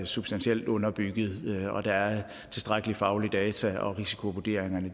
substantielt underbygget at der er tilstrækkelige faglige data og at risikovurderingerne